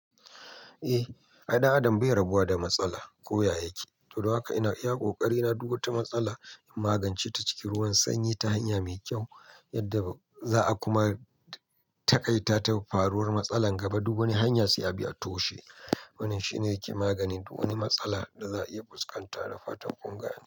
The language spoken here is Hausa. Eh, ai ɗan adam bai rabuwa da matsala, koya yake. Don haka ina iya ƙoƙari na duk wata matsala in magance ta cikin ruwan sanyi ta hanya mai kyau, yadda za'a kuma taƙaita ta faruwar matsala gaba duk wani hanya sai a bi a toshe. Wannan shine yake maganin duk wani matsala da za'a iya fuskanta da fatan kun gane.